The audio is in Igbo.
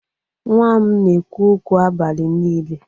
Nwa m na-ekwu okwu abalị niile.